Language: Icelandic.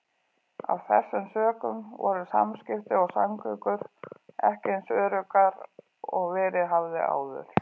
Af þessum sökum voru samskipti og samgöngur ekki eins öruggar og verið hafði áður.